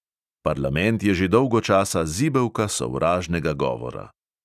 Parlament je že dolgo časa zibelka sovražnega govora.